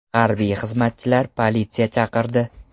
Harbiy xizmatchilar politsiya chaqirdi.